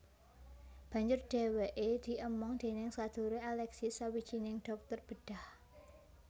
Banjur dheweke diemong déning sedulure Alexis sawijining dhokter bedhah